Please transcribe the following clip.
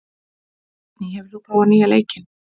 Teitný, hefur þú prófað nýja leikinn?